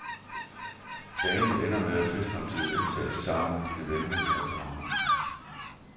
Dagene ender med, at festmåltidet indtages sammen med dine venner i restauranterne.